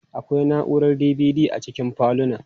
Akwai na'urar DVD a cikin falunan.